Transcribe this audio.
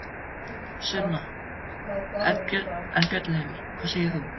Sunna: En, Björn Leví, hvað segir þú?